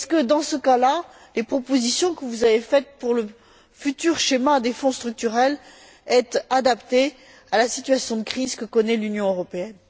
Dans ce cas là, les propositions que vous avez faites pour le futur schéma des Fonds structurels sont elles adaptées à la situation de crise que connaît l'Union européenne?